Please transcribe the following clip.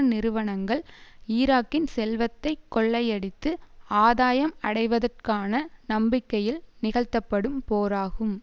நிறுவனங்கள் ஈராக்கின் செல்வத்தை கொள்ளையடித்து ஆதாயம் அடைவதற்கான நம்பிக்கையில் நிகழ்த்தப்படும் போராகும்